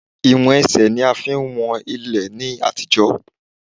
Ìwọ̀n Ẹsẹ̀ ní a fi ń wọn ilẹ̀ ní àtijọ́.